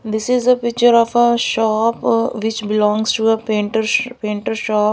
this is a picture of a shop ah which belongs to a painter painter shop.